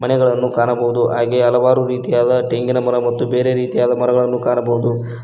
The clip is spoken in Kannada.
ಮನೆಗಳನ್ನು ಕಾಣಬಹುದು ಹಾಗೆ ಹಲವಾರು ರೀತಿಯಾದ ತೆಂಗಿನ ಮರ ಮತ್ತು ಬೇರೆ ರೀತಿಯ ಮರಗಳನ್ನು ಕಾಣಬಹುದು.